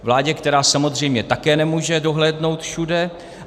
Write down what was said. Vládě, která samozřejmě také nemůže dohlédnout všude.